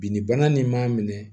Bi ni bana nin m'a minɛ